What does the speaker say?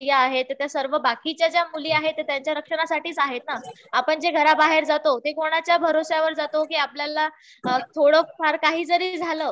ज्या स्त्रिया आहेत ,त्या सर्व बाकीच्या ज्या मुली आहेत त्यांच्या रक्षणासाठीच आहेत ना. आपण जे घराबाहेर जातो ते कोणाच्या भरवशावर जातो. आपल्याला थोडंफार काही जरी झालं